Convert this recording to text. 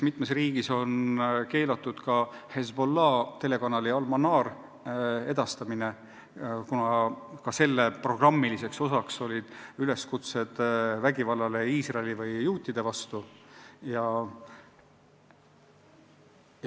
Mitmes riigis on keelatud ka Hezbollah' telekanal Al-Manar, kuna ka selle programmid sisaldavad üleskutseid vägivallale Iisraeli või juutide vastu.